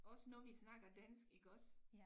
Os når vi snakker dansk iggås